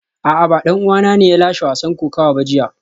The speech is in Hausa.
A'a ba dan uwana ne ya lashe wasan kokawa ba jiya